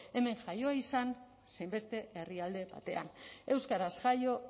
hemen jaioa izan zein beste herrialde batean euskaraz jaio